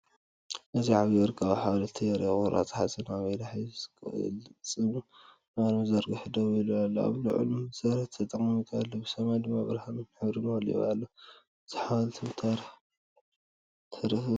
እዚ ዓቢይ ወርቃዊ ሓወልቲ የርኢ። ቁራጽ ሓፂን ኣብ ኢዳ ሒዙ ቅልጽሙ ንቕድሚት ዘርጊሑ ደው ኢሉ ኣሎ። ኣብ ልዑል መሰረት ተቐሚጡ ኣሎ፣ ሰማይ ድማ ብብርሃንን ሕብርን መሊኡ ኣሎ። እዚ ሓወልቲ ክብርን ታሪኽን እዩ።